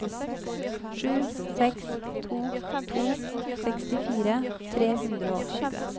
sju seks to to sekstifire tre hundre og tjue